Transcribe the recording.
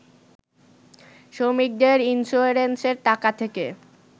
শ্রমিকদের ইন্সিওরেন্সের টাকা থেকে